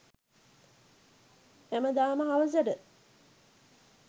හැමදාම හවසට